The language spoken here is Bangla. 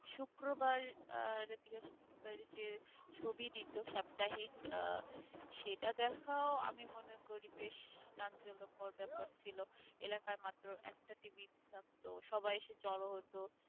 শুক্রবার আর বৃহস্পতিবার যে যে ছবি দিত সাপ্তাহিক আহ সেটা দেখাও আমি মনে করি বেশ চাঞ্চল্যকর ব্যাপার ছিল এলাকার মাত্র একটা TV থাকতো সবাই এসে জড়ো হতো